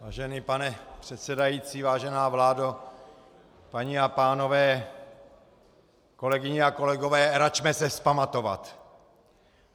Vážený pane předsedající, vážená vládo, paní a pánové, kolegyně a kolegové, račme se vzpamatovat!